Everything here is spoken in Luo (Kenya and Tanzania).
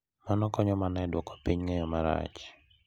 Mano ok konyo mana e duoko piny ng’eyo marach .